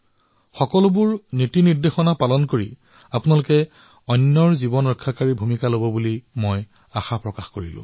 মই আপোনালোক সকলোকে আহ্বান জনাইছো যে দিশনিৰ্দেশনাসমূহ পালন কৰক নিজৰো ধ্যান ৰাখক আৰু আনৰো জীৱন বচাওক